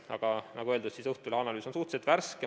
Aga nagu öeldud, Õhtulehe analüüs on suhteliselt värske.